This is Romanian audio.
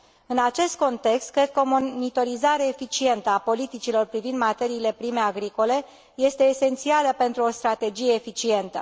În acest context, cred că o monitorizare eficientă a politicilor privind materiile prime agricole este esențială pentru o strategie eficientă.